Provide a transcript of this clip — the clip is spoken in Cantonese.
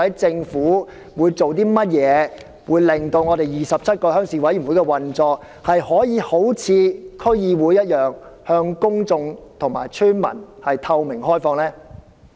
政府會採取甚麼措施令27個鄉事會的運作可以一如區議會般，以透明開放的方式向公眾和村民負責？